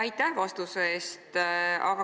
Aitäh vastuse eest!